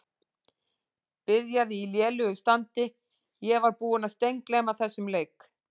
Byrjaði í lélegu standi Ég var búinn að steingleyma þessum leik.